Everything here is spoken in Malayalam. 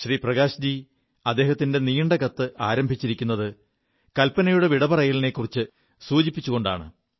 പ്രകാശ്ജി അദ്ദേഹത്തിന്റെ നീണ്ട കത്ത് ആരംഭിച്ചിരിക്കുത് കൽപനയുടെ വിടപറയലിനെക്കുറിച്ചു സൂചിപ്പിച്ചുകൊണ്ടാണ്